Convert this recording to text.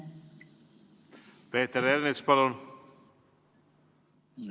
Peeter Ernits, palun!